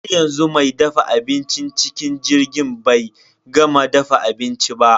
Haryanzu me dafa abincin cikin jirgin bai gama dafa abinci ba.